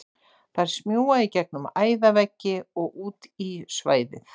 Þær smjúga í gegnum æðaveggi og út í svæðið.